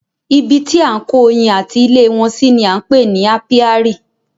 Ibi tí à ń kó oyin ati ilé wọn si ni á ń pè ní ápíárì.